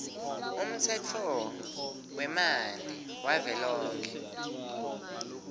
umtsetfo wemanti wavelonkhe